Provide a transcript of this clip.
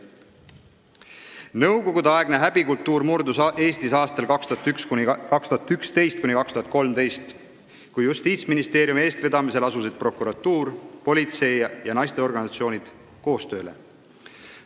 Nõukogude-aegne häbikultuur murdus Eestis aastail 2011–2013, kui Justiitsministeeriumi eestvedamisel asusid prokuratuur, politsei ja naisteorganisatsioonid koostööd tegema.